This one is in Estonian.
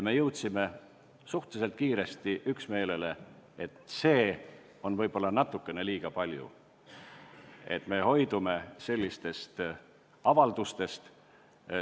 Me jõudsime suhteliselt kiiresti üksmeelele, et seda on võib-olla natukene liiga palju, ja otsustasime, et hoidume sellistest avaldustest.